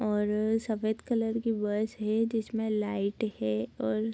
और सफ़ेद कलर की बस है जिसमें लाइट है और --